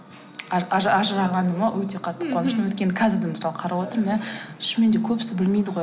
ажырағаныма өте қатты қуаныштымын өйткені қазір де мысалы қарап отырмын иә шынымен де көбісі білмейді ғой